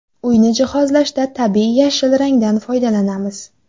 Uyni jihozlashda tabiiy yashil rangdan foydalanamiz.